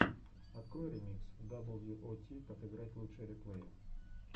открой ремикс дабл ю о ти как играть лучшие реплеи